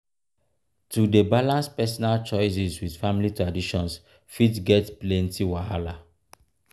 to dey balance personal choices with family traditions fit get plenty wahala.